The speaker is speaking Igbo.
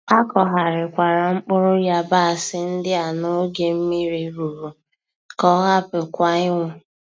Akọgharikwara mkpụrụ yabasị ndị a n'oge mmiri rụrụ ka ọ hapụ kwa inwu